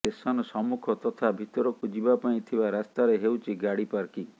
station ସମ୍ମୁଖ ତଥା ଭିତରକୁ ଯିବା ପାଇଁ ଥିବା ରାସ୍ତାରେ ହେଉଛି ଗାଡି ପାର୍କିଂ